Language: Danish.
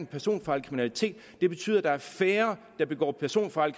personfarlig kriminalitet betyder at der er færre der begår personfarlig